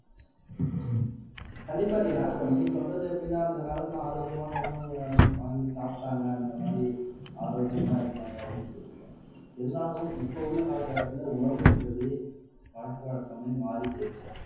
கண்டிப்பா ரீனா இப்ப நீங்க சொல்றது எப்படின்னா அந்த காலத்துல ஆரோக்கியமான உணவுகள் வாங்கி சாப்பிட்டாங்க அந்த மாதிரி ஆரோக்கியமா இருந்தாங்க அப்படின்னு சொல்றீங்க இருந்தாலும் இப்ப உள்ள காலகட்டத்துல உணவுன்றது பழக்க வழக்கமே மாறிப்போச்சு